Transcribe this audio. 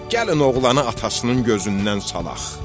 Gəlin oğlanı atasının gözündən salaq.